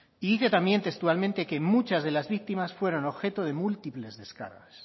y dice también textualmente que muchas de las víctimas fueron objeto de múltiples descargas